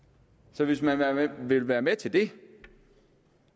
så hvis man vil være med til det